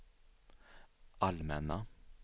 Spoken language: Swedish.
allmänna